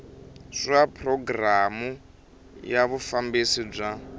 swa programu ya vufambisi bya